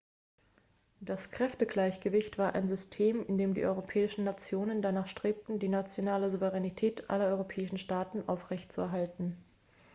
das kräftegleichgewicht war ein system in dem die europäischen nationen danach strebten die nationale souveränität aller europäischen staaten aufrechtzuerhalten